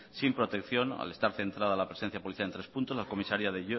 sin protección al estar centrada la presencia policial en tres puntos las comisarías de